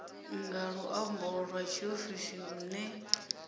nga luambo lwa tshiofisi lune